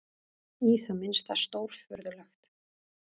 Í það minnsta stórfurðulegt.